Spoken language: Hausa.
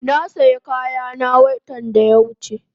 Na saya kayana watan da ya wuche